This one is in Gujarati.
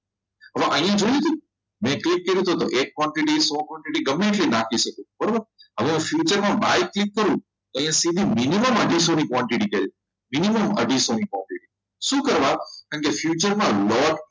હવે અહીંયા જોઈશું કેટલું હતું એ quantity ગમે તે રાખી શકીએ બરાબર હવે future by click કરો તો minimum અઢીસો પહોંચી નીકળે છે minimum અઢીસો શું કરવા કેમ કે future loss